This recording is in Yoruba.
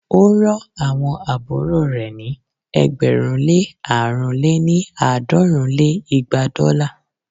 ó rán àwọn àbúrò rẹ̀ ní ẹgbẹ̀rún lé àrún lé ní- àádọ́rùn lé igba dọ́là